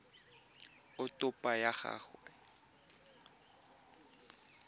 a topo ya gago ya